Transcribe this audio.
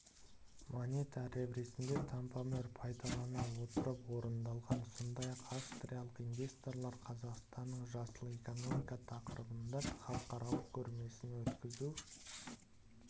монета реверсінде тампомөр пайдалана отырып орындалған сондай-ақ австриялық инвесторлар қазақстанның жасыл экономика тақырыбында халықаралық көрмесін өткізу